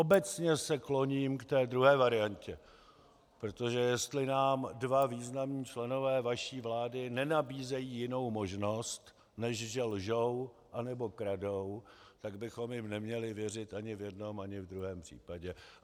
Obecně se kloním k té druhé variantě, protože jestli nám dva významní členové vaší vlády nenabízejí jinou možnost, než že lžou, anebo kradou, tak bychom jim neměli věřit ani v jednom, ani v druhém případě.